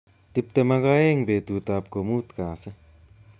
Tuptem ak aeng betutab ko mutu kasi